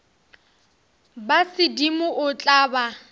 ba sedimo o tla ba